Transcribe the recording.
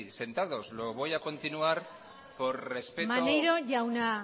sentados maneiro jauna